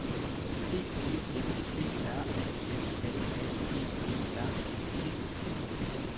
C E N T R A L L A G E R E T